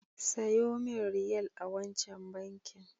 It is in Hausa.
Sayo min Riyal a wancan bankin.